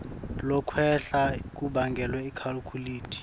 lokwehla kubangelwe ikakhulukati